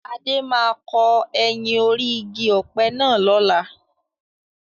Adé máa kọ ẹyìn orí igi ọ̀pẹ náà lọ́la.